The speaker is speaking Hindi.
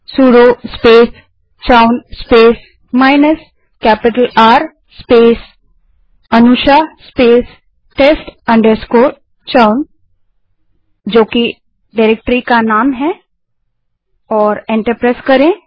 sudo space chown space minus capital R space a n u s h आ अनुशा spacetest chown जो डाइरेक्टरी का नाम है और एंटर दबायें